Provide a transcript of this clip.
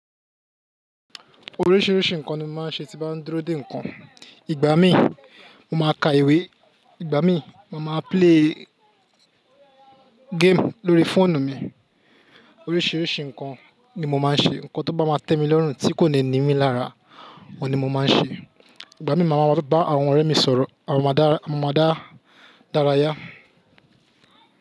Oríṣìíríṣìí nǹkan ni mo máa ń ṣe tí bá ń dúró dè nǹkan. Ìgbà mí mo máa ka ìwé, ìgbà mí mo máa play game lórí fóònù mi. Oríṣìíríṣìí nǹkan ni mo máa ń ṣe, nǹkan tó bá máa tẹ mi lọ́rùn tí kò ní nimí lára òun ni mo máa ń ṣe. Ìgbà mí mo máa bá àwọn ọ̀rẹ́ mi sọ̀rọ̀, a máa dára yá.